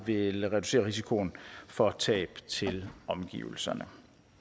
vil reducere risikoen for tab til omgivelserne